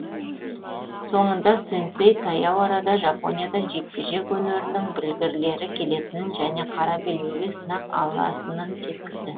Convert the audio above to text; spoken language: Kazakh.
соңында сэнсэй таяу арада жапониядан жекпе жек өнерінің білгірлері келетінін және қара белбеуге сынақ алатынын жеткізді